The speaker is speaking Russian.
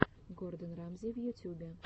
гордон рамзи в ютюбе